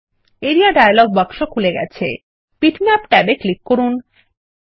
area dialogue বাক্স খুলে গেছে বিটম্যাপ ট্যাবে ক্লিক করুন